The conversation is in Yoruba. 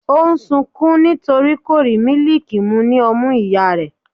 o n sunkún nítorí kò rí mílìkì mu ní ọmú ìyá rẹ̀.